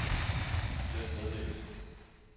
slet meddelelse